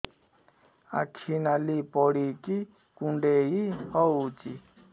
ଆଖି ନାଲି ପଡିକି କୁଣ୍ଡେଇ ହଉଛି